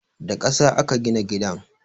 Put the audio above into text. Da ƙasa aka gina gidan